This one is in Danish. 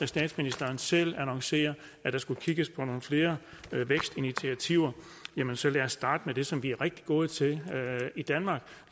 statsministeren selv annoncerer at der skal kigges på nogle flere vækstinitiativer jamen så lad os starte med det som vi er rigtig gode til i danmark